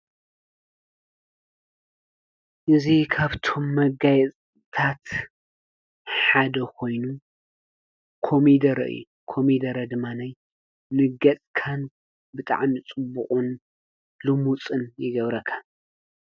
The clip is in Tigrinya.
እዚ ካብቶም መጋየፅታት ሓደ ኮይኑ ኮሚደረ እዩ፡፡ ኮሚደረ ድማ ንገፅካን ብጣዕሚ ፅቡቅን ልሙፅን ይገብረካ፡፡